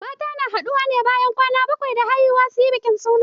Mata na haɗuwa bayan kwana bakwai da haihuwa suyi bikin suna.